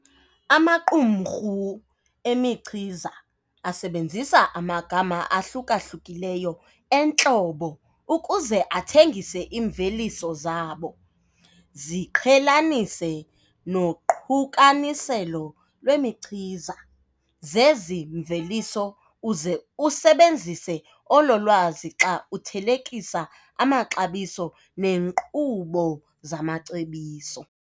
Amaqumrhu emichiza asebenzisa amagama ahluka-hlukileyo entlobo ukuze athengise iimveliso zabo. Ziqhelanise noqukaniselo lwemichiza zezi mveliso uze usebenzise olo lwazi xa uthelekisa amaxabiso nenkqubo zamacebiso.